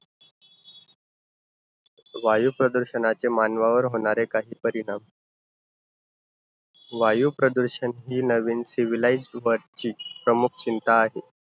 वायू प्रदूषणाचे मानवावर होणारे काही परिणाम. वायू प्रदूषण हि नवीन civilised वरची प्रमुख चिंता आहे.